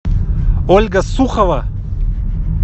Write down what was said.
ольга сухова